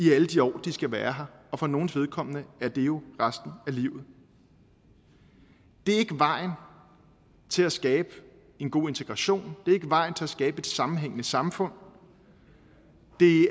i alle de år de skal være her og for nogles vedkommende er det jo resten af livet det er ikke vejen til at skabe en god integration det er ikke vejen til at skabe et sammenhængende samfund det